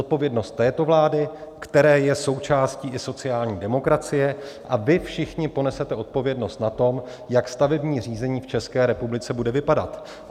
Zodpovědnost této vlády, které je součástí i sociální demokracie, a vy všichni ponesete odpovědnost na tom, jak stavební řízení v České republice bude vypadat.